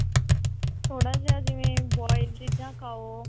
ਥੋੜਾ ਜਾ ਜਿਵੇਂ boil ਚੀਜ਼ਾ ਖਾਓ